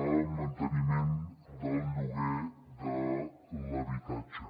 a manteniment del lloguer de l’habitatge